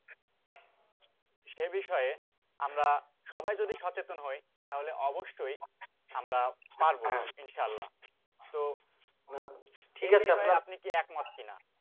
সে বিষয়ে আমরা সবাই যদি সচেতন হই তাহলে অবশ্যই আমরা পারব ইনশাল্লাহ তো আপনি কি একমত কি না